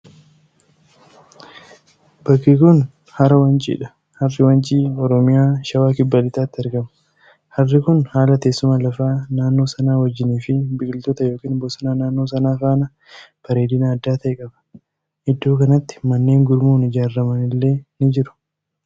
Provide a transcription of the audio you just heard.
Bakki kuni hara Wanciidha. Harri Wancii Oromiyaa, Shawaa Kibba Lixaatti argama. Harri kun haala teessuma lafaa naannoo sanaa wajjiinii fi biqiloota yookin bosona naannoo sanaa faana bareedina adda ta'e qaba. Iddoo kanatti manneen gurmuun ijaarraman illee ni jiru.